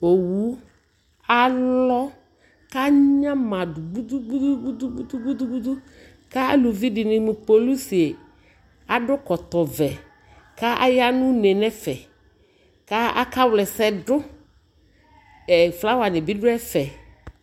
ɔwʋ alɔ ka anyama dʋ bʋtʋtʋtʋ ka alʋvi dini polisi adʋ ɛkɔtɔ vɛ kʋ aya nʋ ʋnɛ nʋ ɛƒɛ kʋ aka wlɛ ɛsɛdʋ, flower dibi dʋ ɛƒɛ